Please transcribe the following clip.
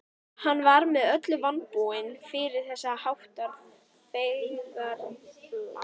Hann var með öllu vanbúinn fyrir þess háttar feigðarflan.